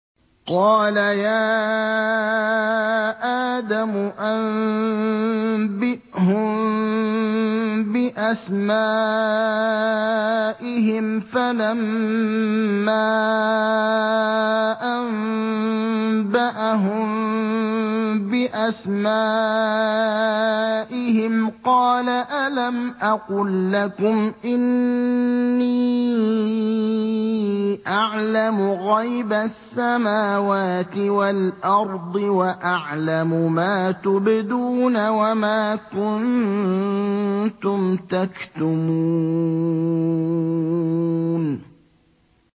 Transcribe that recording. قَالَ يَا آدَمُ أَنبِئْهُم بِأَسْمَائِهِمْ ۖ فَلَمَّا أَنبَأَهُم بِأَسْمَائِهِمْ قَالَ أَلَمْ أَقُل لَّكُمْ إِنِّي أَعْلَمُ غَيْبَ السَّمَاوَاتِ وَالْأَرْضِ وَأَعْلَمُ مَا تُبْدُونَ وَمَا كُنتُمْ تَكْتُمُونَ